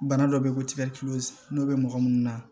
Bana dɔ bɛ yen ko n'o bɛ mɔgɔ minnu na